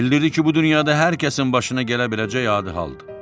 Bildirdi ki, bu dünyada hər kəsin başına gələ biləcək adi haldır.